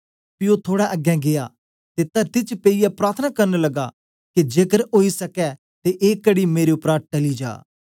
पी ओ थोड़ा अगें गीया ते तरती च पेयिये प्रार्थना करन लगा के जेकर ओई सके ते ए कड़ी मेरे उपरा टली जा